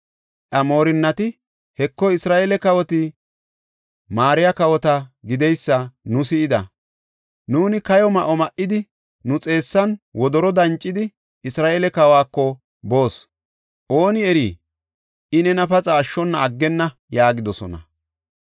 Iya moorinnati, “Heko, Isra7eele kawoti, maariya kawota gideysa nu si7ida. Nuuni kayo ma7o ma7idi, nu xeessan wodoro dancidi, Isra7eele kawako boos; ooni eri, I nena paxa ashshona aggenna” yaagidosona.